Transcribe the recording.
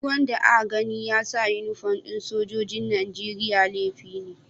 Duk wanda a gani ya sa uniform na sojoji'n Nijeriya laifi ne.